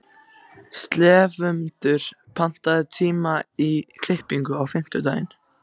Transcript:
slefmundur, pantaðu tíma í klippingu á fimmtudaginn.